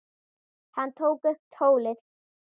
Hann tók upp tólið.